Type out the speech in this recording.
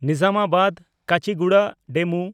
ᱱᱤᱡᱟᱢᱟᱵᱟᱫ–ᱠᱟᱪᱤᱜᱩᱰᱟ DEMU